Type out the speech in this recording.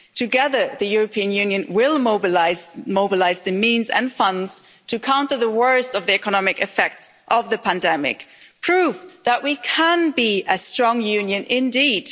Together, the European Union will mobilise the means and funds to counter the worst of the economic effects of the pandemic, proof that we can be a strong union indeed.